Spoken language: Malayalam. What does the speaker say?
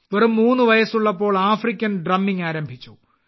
വെറും മൂന്നു വയസ്സുള്ളപ്പോൾ ആഫ്രിക്കൻ ഡ്രമ്മിങ് ആരംഭിച്ചു